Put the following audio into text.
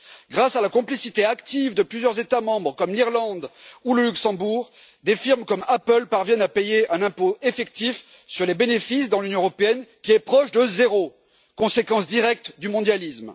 Grâce à la complicité active de plusieurs États membres, comme l'Irlande ou le Luxembourg, des sociétés comme Apple parviennent à payer un impôt effectif sur leurs bénéfices dans l'Union européenne, qui est proche de zéro conséquence directe du mondialisme.